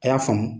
A y'a faamu